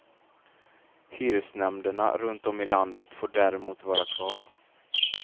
Hyresnämnderna runt om i landet får däremot vara kvar.